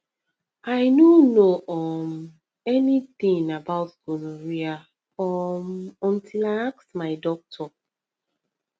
i no know um anything about gonorrhea um until i ask my doctor